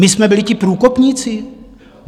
My jsme byli ti průkopníci?